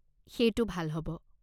সেইটো ভাল হ'ব।